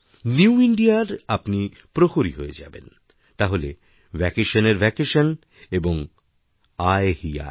নিউইণ্ডিয়ার আপনি প্রহরী হয়ে যাবেন তাহলে ভ্যাকেশনের ভ্যাকেশন এবং আয় হি আয়